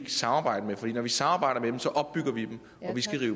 samarbejde med for når vi samarbejder